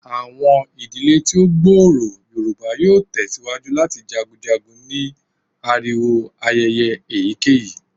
Awọn idile ti o gbooro Yoruba yoo tẹsiwaju lati jagunjagun ni ariwo ayẹyẹ eyikeyi